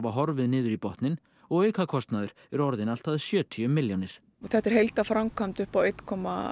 horfið niður í botninn og aukakostnaður orðinn allt að sjötíu milljónir þetta er heildarframkvæmd upp á einn komma